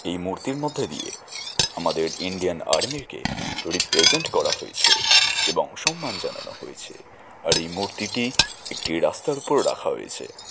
এই মুহূর্তটির মধ্যে দিয়েআমাদের ইন্ডিয়ান আর্মি কে রিপ্রেজেন্ট করা হয়েছেএবং সম্মান জানানো হয়েছেআর এই মূর্তিটিএকটি রাস্তার উপর রাখা হয়েছে।